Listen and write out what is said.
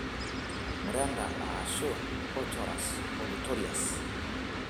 Mureenda aashua( Corchorus olitorius)